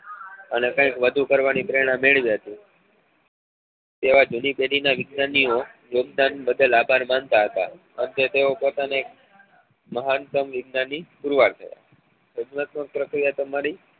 અને કઈક વધું કરવા ની પ્રેરણા મેળવી હતી તેવા જૂની પેઢી ના વિજ્ઞાનીઓ યોગદાન બદલ અભાર મનતા હતા અંતે તેઓ પોતાને મહાનતમ વિજ્ઞાની પુરવાર થયા ભાગવત પ્રકુલર તમારી